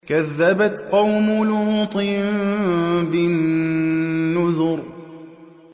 كَذَّبَتْ قَوْمُ لُوطٍ بِالنُّذُرِ